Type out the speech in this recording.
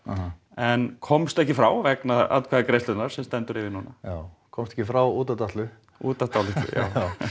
en komst ekki frá vegna atkvæðagreiðslunnar sem stendur yfir núna já komst ekki frá út af dálitlu út af dálitlu já